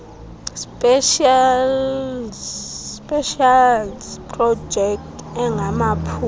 specials projects angamaphulo